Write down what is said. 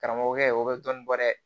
Karamɔgɔkɛ o bɛ dɔn bɔ dɛ